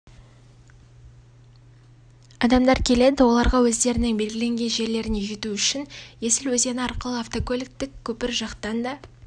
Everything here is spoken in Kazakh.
адамдар келеді оларға өздерінің белгіленген жерлеріне жету үшін есіл өзені арқылы автокөліктік көпір жақтан да